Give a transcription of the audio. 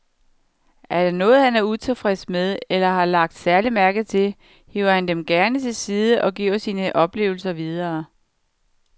Er der noget, han er utilfreds med eller har lagt særlig mærke til, hiver han dem gerne til side og giver sine oplevelser videre.